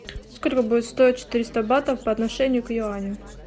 сколько будет стоить четыреста батов по отношению к юаню